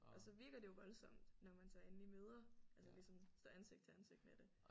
Og så virker det jo voldsomt når man så endelig møder altså ligesom står ansigt til ansigt med det